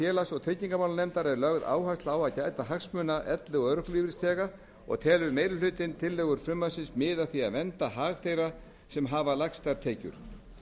félags og tryggingamálanefndar er lögð áhersla á að gæta hagsmuna elli og örorkulífeyrisþega og telur meiri hlutinn tillögur frumvarpsins miða að því að vernda hag þeirra sem hafa lægstar tekjur